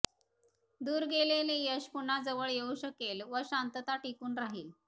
दूर गेलेले यश पुन्हा जवळ येवू शकेल व शांतता टिकून राहील